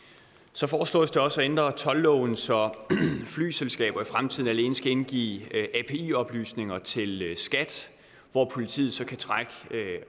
så foreslås det også at ændre toldloven så flyselskaber i fremtiden alene skal indgive api oplysninger til skat hvor politiet så kan trække